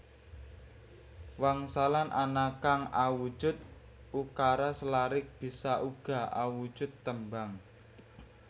Wangsalan ana kang awujud ukara selarik bisa uga awujud tembang